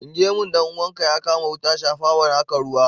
In gemun dan uwanka ya kama wuta shafawa na ka ruwa.